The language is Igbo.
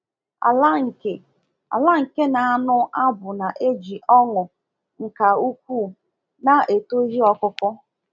Ala nke Ala nke na-anụ abụ na-eji ọṅụ nka ukwuu na eto ihe ọkụkụ.